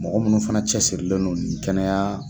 Mɔgɔ munnu fɛnɛ cɛsirilen don nin kɛnɛya